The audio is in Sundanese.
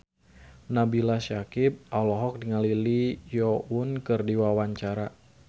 Nabila Syakieb olohok ningali Lee Yo Won keur diwawancara